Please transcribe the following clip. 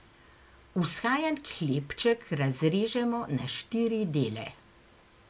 Vzhajan hlebček razrežemo na štiri dele.